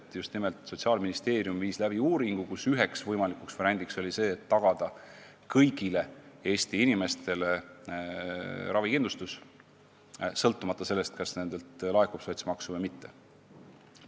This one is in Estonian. Põhjus on selles, et Sotsiaalministeerium viis läbi uuringu, kus üheks võimalikuks variandiks võeti lahendus, mis tagaks kõigile Eesti inimestele ravikindlustuse, sõltumata sellest, kas nendelt laekub sotsmaksu või mitte.